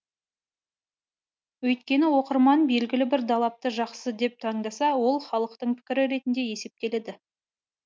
өйткені оқырман белгілі бір далапты жақсы деп таңдаса ол халықтың пікірі ретінде есептеледі